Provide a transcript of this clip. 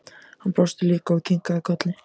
Hann brosti líka og kinkaði kolli.